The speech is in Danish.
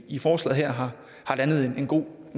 i forslaget her har landet en god